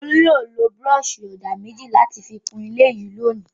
Olú yóò lo búrọ́ṣì-ọ̀dà méjì láti fi kún ilé yìí lónìí.